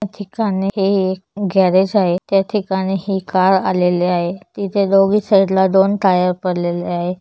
त्या ठिकाणी हे एक गॅरेज आहे. त्या ठिकाणी हे कार आलेले आहे. तिथे दोन्ही साइड ला दोन टायर पडलेले आहे.